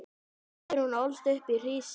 Guðrún ólst upp í Hrísey.